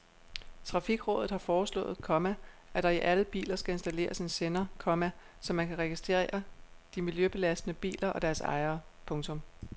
Trafikrådet har foreslået, komma at der i alle biler skal installeres en sender, komma så man kan registrere de miljøbelastende biler og deres ejere. punktum